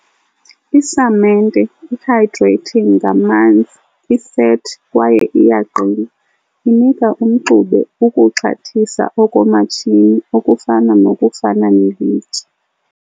I -samente, i-hydrating ngamanzi, isethi kwaye iyaqina, inika umxube ukuxhathisa okomatshini okufana nokufana nelitye .